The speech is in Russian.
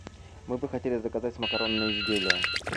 мы бы хотели заказать макаронные изделия